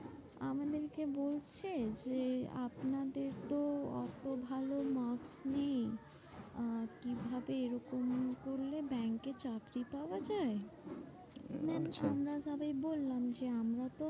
আমাদেরকে বলছে যে, আপনাদের তো অত ভালো marks নেই আহ কিভাবে এরকম করলে ব্যাঙ্কে চাকরি পাওয়া যায়? আচ্ছা আমরা সবাই বললাম যে আমরা তো